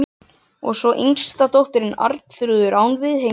Og svo yngsta dóttirin, Arnþrúður, án viðhengis.